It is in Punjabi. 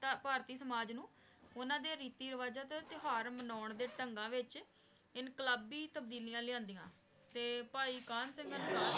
ਭਾਰਤੀ ਸਮਾਜ ਨੂ ਓਨਾਂ ਦਾ ਰੀਤੀ ਰਿਵਾਜਾਂ ਟੀ ਓਨਾਂ ਡੀ ਟੁਹਾਰ ਮਨਾਂ ਦੇ ਢੰਗਾਂ ਵਿਚ ਇੰਕ਼ਲਾਬੀ ਤਾਬ੍ਦੀਲਿਯਾ ਲੈਨ੍ਦਿਯਾਂ ਤੇ ਭਾਈ ਏਕਨ ਸਿੰਘ